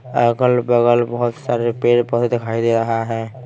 अगल-बगल बहुत सारे पेड़-पौधे दिखाई दे रहा है।